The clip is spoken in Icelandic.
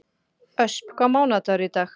Ösp, hvaða mánaðardagur er í dag?